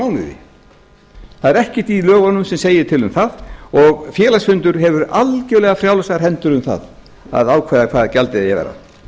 mánuði það er ekkert í lögunum sem segir til um það og félagsfundur hefur algerlega frjálsar hendur um það að ákveða hvað gjaldið eigi að vera